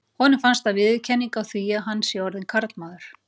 Honum finnst það viðurkenning á því að hann sé orðinn karlmaður.